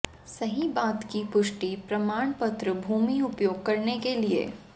सही बात की पुष्टि प्रमाण पत्र भूमि उपयोग करने के लिए